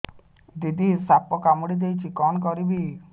ଦିଦି ସାପ କାମୁଡି ଦେଇଛି କଣ କରିବି